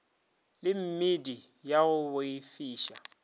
le meedi ya go boifiša